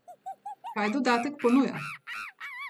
Kaj dodatek ponuja?